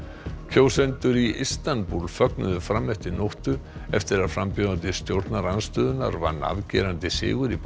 kjósendur í Istanbúl fögnuðu fram eftir nóttu eftir að frambjóðandi stjórnarandstöðunnar vann afgerandi sigur í